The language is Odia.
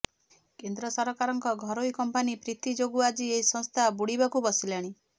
କେନ୍ଦ୍ର ସରକାରଙ୍କ ଘରୋଇ କମ୍ପାନୀ ପ୍ରୀତି ଯୋଗୁଁ ଆଜି ଏହି ସଂସ୍ଥା ବୁଡିବାକୁ ବସିଲାଣି